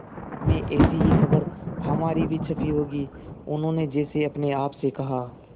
में ऐसी ही खबर हमारी भी छपी होगी उन्होंने जैसे अपने आप से कहा